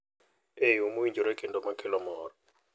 E yo mowinjore kendo makelo mor.